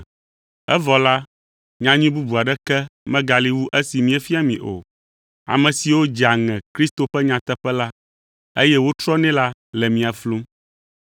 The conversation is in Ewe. evɔ la, nyanyui bubu aɖeke megali wu esi míefia mi o. Ame siwo dzea ŋe Kristo ƒe nyateƒe la, eye wotrɔnɛ la le mia flum.